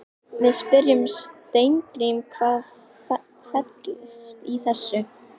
Við spyrjum Steingrím, hvað fellst í þessu?